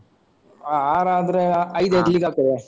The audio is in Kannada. ಹ ಆರಾದ್ರೆ ಅಹ್ ಐದು ಐದು league ಆಗ್ತದಾ?